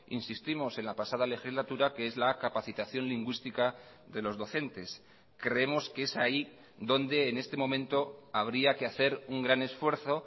insistimos en la pasada legislatura que es la capacitación lingüística de los docentes creemos que es ahí donde en este momento habría que hacer un gran esfuerzo